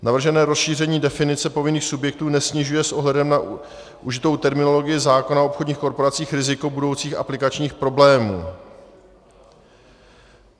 Navržené rozšíření definice povinných subjektů nesnižuje s ohledem na užitou terminologii zákona o obchodních korporacích riziko budoucích aplikačních problémů.